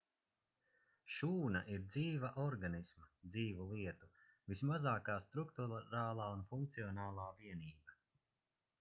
šūna ir dzīva organisma dzīvu lietu vismazākā strukturālā un funkcionālā vienība